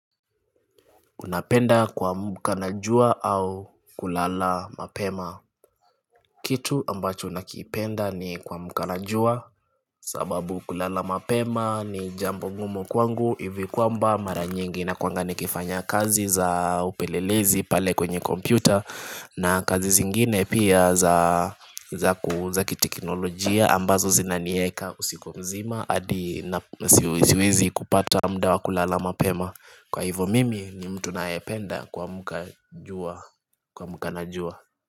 Unapenda kuamka na jua au kulala mapema Kitu ambacho nakipenda ni kuamka na jua sababu kulala mapema ni jambo ngumu kwangu hivi kwamba mara nyingi nakuanga nikifanya kazi za upelelezi pale kwenye kompyuta na kazi zingine pia za za ku za kiteknolojia ambazo zinanieka usiku mzima adi siwezi kupata mda wa kulala mapema Kwa hivo mimi ni mtu nayependa kuamka jua kuamka na juwa.